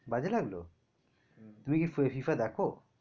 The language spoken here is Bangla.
বাজে লাগলো? তুমি কি FIFA দেখো?